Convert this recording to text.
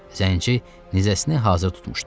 Zənci nizəsini hazır tutmuşdu.